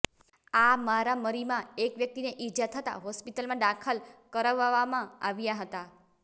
આ મારામરીમાં એક વ્યકિતને ઇજા થતાં હોસ્પિટલમાં દાખલ કરવવામાં આવ્યા હતા